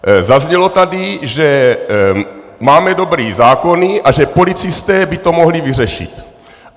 Zaznělo tady, že máme dobré zákony a že policisté by to mohli vyřešit.